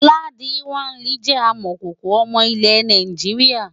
Ladi kwali jẹ́ amọ̀kòkò ọmọ ilẹ̀ Nàìjíríà.